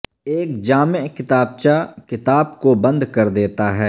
ایک جامع کتابچہ کتاب کو بند کر دیتا ہے